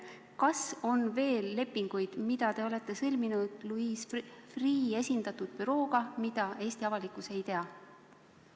Kas on veel lepinguid, mis te olete sõlminud Louis Freeh' bürooga ja mida Eesti avalikkus ei tea?